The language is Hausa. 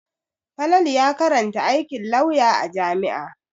Falatu ya karanta aikin lauya a jami'a.